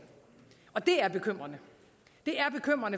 og det er bekymrende